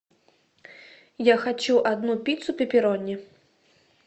я хочу одну пиццу пеперони